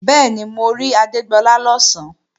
Bẹ́ẹ̀ni, mo rí Adégbọlá lọ̀sán